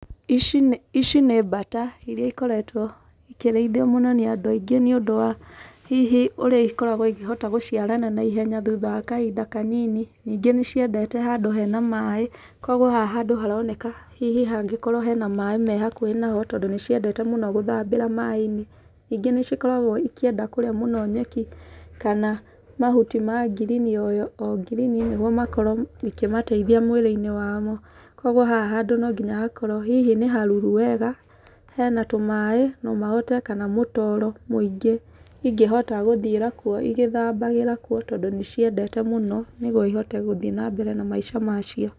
Ici nĩ ici nĩ mbata irĩa ikoretwo ikĩrĩithio mũno nĩ andũ aingĩ nĩ ũndũ wa hihi ũrĩa ikoragwo ikĩhota gũciarana naihenya thutha wa kahinda kanini. Ningĩ nĩ ciendete handũ hena maĩ, kũguo haha handũ haroneka hihi hangĩkorwo hena maĩ me hakuhĩ nao, tondũ nĩ ciendete mũno gũthambĩra maĩ-inĩ. Ningĩ nĩ cikoragwo ikĩenda kũrĩa mũno nyeki, kana mahuti ma ngirini o o ngirini nĩguo makorwo ikimateithia mwĩrĩ-inĩ wamo. Kũguo haha handũ no nginya hakorwo hihi nĩ haruru wega, hena tũmaĩ, no mahote kana mũtoro mũingĩ ingĩhota gũthiĩra kuo igĩthambagĩra kuo, tondũ ni ciendete mũno nĩguo ihote hũthiĩ na mbere na maica ma cio.